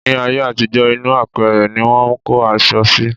Ní ayé àtijọ́, inú apẹ̀rẹ̀ ní wọ́n ń kó aṣọ sí.